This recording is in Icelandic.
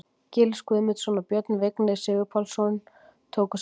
Gils Guðmundsson og Björn Vignir Sigurpálsson tóku saman.